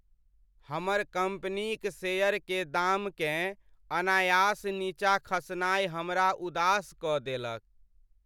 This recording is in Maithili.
हमर कम्पनीक शेयर के दाम केँ अनायास नीचा खसनाय हमरा उदास कऽ देलक।